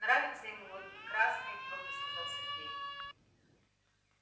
нравится ему вот и красные твёрдо сказал сергей